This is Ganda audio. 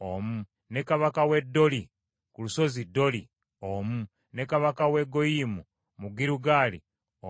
ne kabaka w’e Doli ku lusozi Doli omu, ne kabaka w’e Goyiyimu mu Girugaali omu,